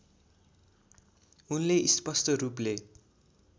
उनले स्पष्ट रूपले